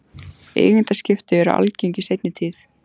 Eigendaskipti eru algeng í seinni tíð.